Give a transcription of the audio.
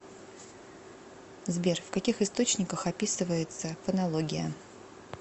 сбер в каких источниках описывается фонология